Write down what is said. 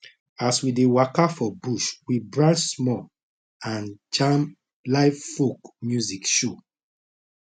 as we dey waka for bush we branch small and jam live folk music show